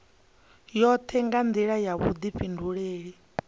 yoṱhe nga nḓila ya vhuḓifhinduleli